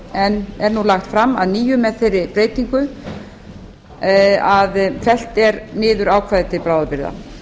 en er nú lagt fram að nýju með þeirri breytingu að fellt er niður ákvæði til bráðabirgða